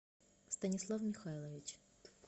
станислав михайлович